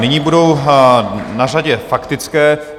Nyní budou na řadě faktické.